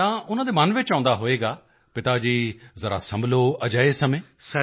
ਤਾਂ ਉਨ੍ਹਾਂ ਦੇ ਮਨ ਵਿੱਚ ਆਉਂਦਾ ਹੋਵੇਗਾ ਪਿਤਾ ਜੀ ਜ਼ਰਾ ਸੰਭਲੋ ਅਜਿਹੇ ਸਮੇਂ